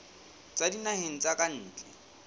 tswa dinaheng tsa ka ntle